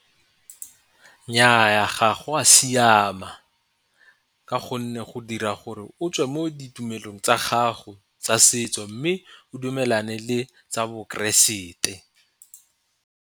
Nnyaa, ga go a siama ka gonne go dira gore o tswe mo ditumelong tsa gago tsa setso, mme o dumelane le tsa bo keresete.